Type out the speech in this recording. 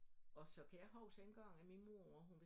Og så kan jeg huske en gang at min mor hun